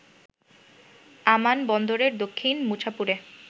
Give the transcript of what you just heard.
আমান বন্দরের দক্ষিণ মুছাপুরে